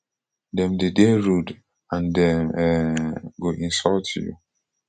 dem dey dey rude and dem um go insult you